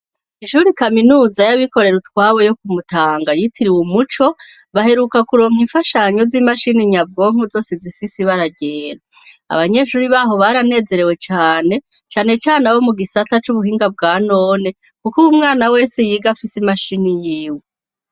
Ishuri kaminuza y'abikorera utwabo yo kumutanga yitiri uwe umuco baheruka kuronka imfashanyo z'imashini nyabwonku zose zifise ibararera abanyeshuri baho baranezerewe cane canecane abo mu gisata c'ubuhinga bwa none, kuko uba umwana wese yiga afise imashini yiwe.